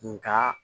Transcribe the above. Nga